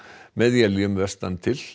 með éljum vestan til